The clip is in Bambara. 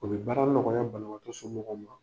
O bɛ baara nɔgɔya banabatɔ somɔgɔw ma.